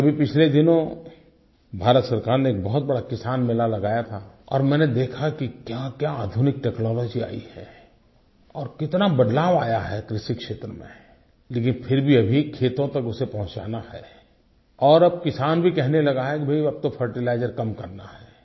क्योंकि पिछले दिनों भारत सरकार ने एक बहुत बड़ा किसान मेला लगाया था और मैंने देखा कि क्याक्या आधुनिक टेक्नोलॉजी आई है और कितना बदलाव आया है कृषि क्षेत्र में लेकिन फिर भी उसे खेतों तक पहुँचाना है और अब किसान भी कहने लगा है कि भई अब तो फर्टिलाइजर कम करना है